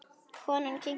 Konan kinkaði kolli.